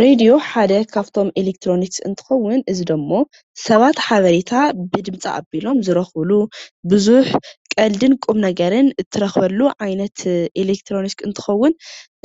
ሬድዮ ሓደ ካብቶም ኤሌክትሮኒክስ እንትከውን እዚ ዶሞ ሰባት ሓበሬታ ብድምፂ ኣቢሎም ዝረኽብሉ ብዙሕ ቀልድን ቁም ነገርን እትረኽበሉ ዓይነት ኤሌክትሮኒክስ እንትኸውን